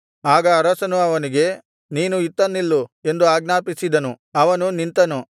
ಆಗ ಅರಸನು ಅವನಿಗೆ ನೀನು ಇತ್ತ ನಿಲ್ಲು ಎಂದು ಆಜ್ಞಾಪಿಸಿದನು ಅವನು ನಿಂತನು